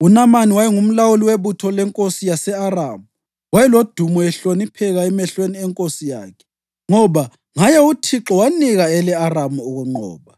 UNamani wayengumlawuli webutho lenkosi yase-Aramu. Wayelodumo ehlonipheka emehlweni enkosi yakhe, ngoba ngaye uThixo wanika ele-Aramu ukunqoba.